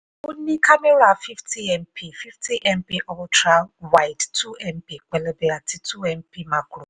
ó ní kámẹ́rà fifty mp fifty mp ultra-wide two mp pélébé àti two mp macro